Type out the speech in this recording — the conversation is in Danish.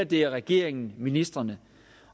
det er regeringen ministrene